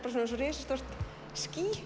eins og risastórt ský